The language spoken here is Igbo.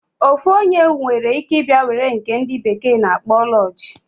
Ofu onye nwere ike ibia were nke ndi bekee na akpo lodge.